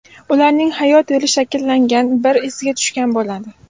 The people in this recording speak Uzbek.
Ularning hayot yo‘li shakllangan, bir izga tushgan bo‘ladi.